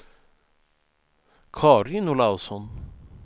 Karin Olausson